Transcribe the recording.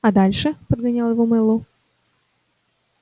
а дальше подгонял его мэллоу